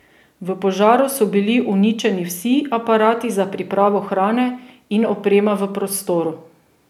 V požaru so bili uničeni vsi aparati za pripravo hrane in oprema v prostoru.